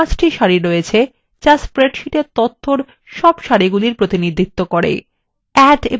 লক্ষ্য করুন এখানে 5টি সারি আছে যা আমাদের স্প্রেডশীটের তথ্যর মোট সারির প্রতিনিধিত্ব করে